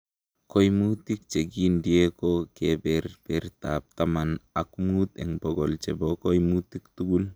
Koimutik chekigindie ko keberbertab taman ok mut en bokol chebo koimutik tugul.